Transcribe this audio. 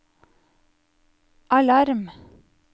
alarm